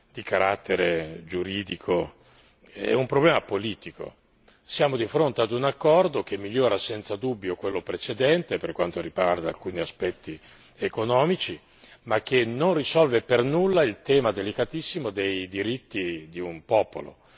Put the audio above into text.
di carattere giuridico, è un problema politico siamo di fronte ad un accordo che migliora senza dubbio quello precedente, per quanto riguarda alcuni aspetti economici, ma che non risolve per nulla il tema delicatissimo dei diritti di un popolo.